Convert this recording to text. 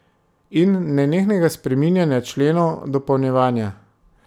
In nenehnega spreminjanja členov, dopolnjevanja.